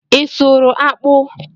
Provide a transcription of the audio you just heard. Ị sụrụ akpụ?